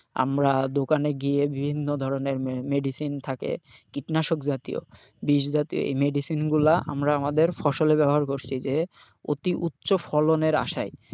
আমরা দোকানে গিয়ে বিভিন্ন ধরনের medicine থাকে কীটনাশক জাতীয় বিষ জাতীয়, এই medicine গুলা আমরা আমাদের ফসলে ব্যবহার করছি যে অতি উচ্চ ফলনের আশায়,